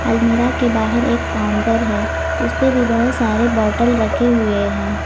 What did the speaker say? अलमीरा के बाहर एक काउंटर है उसपे भी बहुत सारे बोतल रखे हुए हैं।